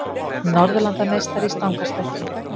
Norðurlandameistari í stangarstökki